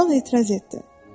Kral etiraz etdi.